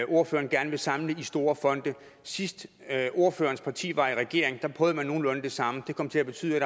ordføreren gerne vil samle i store fonde sidst ordførerens parti var i regering prøvede man nogenlunde det samme og det kom til at betyde